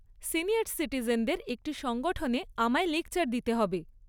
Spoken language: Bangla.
সিনিয়ার সিটিজেনদের একটি সংগঠনে আমায় লেকচার দিতে হবে।